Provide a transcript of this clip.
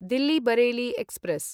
Delhi Bareilly express